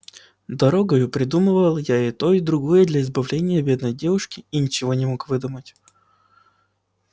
дорогою придумывал я и то и другое для избавления бедной девушки и ничего не мог выдумать